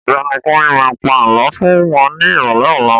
Ọ̀gbẹ́ni Kunle má pa Àlọ́ fún wọn ní ìrọ̀lẹ́ ọlá